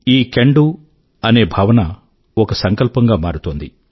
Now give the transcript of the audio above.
ఈ can do అనే భావన ఒక సంకల్పంగా మారుతోంది